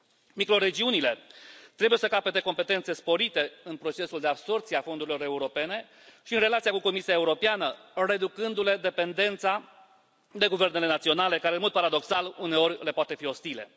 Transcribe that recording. Microregiunile trebuie să capete competențe sporite în procesul de absorbție a fondurilor europene și în relația cu Comisia Europeană, reducându le dependența de guvernele naționale, care, în mod paradoxal, uneori, le pot fi ostile.